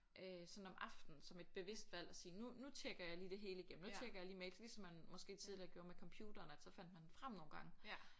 Øh sådan om aftenen som et bevidst valg og sige nu nu tjekker jeg lige det hele igennem nu tjekker jeg lige mails ligesom man måske tidligere gjorde med computeren at så fandt man den frem nogle gange